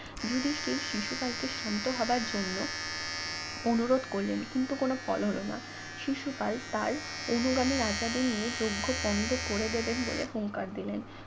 যুধিষ্ঠির শিশুপালকে শান্ত হবার জন্য অনুরোধ করলেন কিন্তু কোনো ফল হলো না শিশুপাল তার অনুগামী রাজাদের নিয়ে যজ্ঞ পণ্ড করে দেবেন বলে হুঙ্কার দিলেন